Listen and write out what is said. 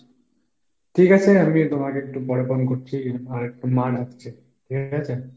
ঠিক আছে, আমি তোমাকে একটু পরে phone করছি আর একটু মা ডাকছে ঠিক আছে?